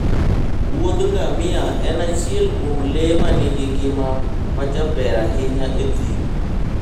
wuodh ngamia en achiel kuom le ma nigi ngima majaber ahinya e thim